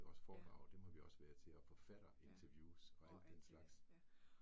Også foredrag dem har vi også været til og forfatterinterviews og al den slags